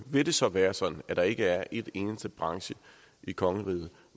vil det så være sådan at der ikke er en eneste branche i kongeriget